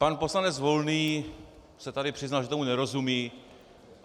Pan poslanec Volný se tady přiznal, že tomu nerozumí.